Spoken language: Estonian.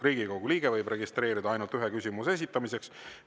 Riigikogu liige võib registreeruda ainult ühe küsimuse esitamiseks.